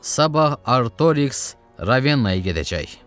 Sabah Artoriks Ravenaya gedəcək.